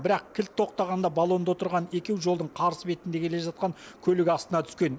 бірақ кілт тоқтағанда баллонда отырған екеу жолдың қарсы бетінде келе жатқан көлік астына түскен